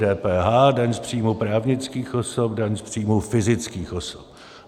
DPH, daň z příjmu právnických osob, daň z příjmu fyzických osob.